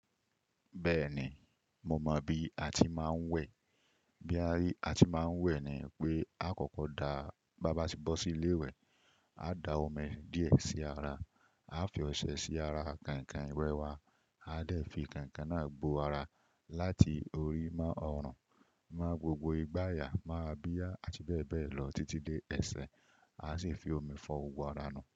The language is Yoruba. Bẹ́ẹ̀ni, moo mọ bí a ti máa ń wẹ̀. Bí a ti máa ń wẹ̀ ni pé, á kọ́kọ́ daá, bá bá ti bọ́ sí ilé ìwẹ̀, á da omi díè sí ara, á fi ọṣẹ sí ara kànkàn ìwẹ̀ wa, á dẹ̀ fi kànkàn náà boo ara láti orí moo ọ̀run, mo gbogbo igbàyà moo ábia àti bẹ́ẹ̀ bẹ́ẹ̀ lọ títí dé ẹsẹ̀, á sì fi omi fọ gbogbo ara nuu.